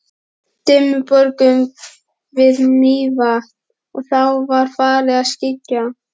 Dimmuborgum við Mývatn og þá var farið að skyggja.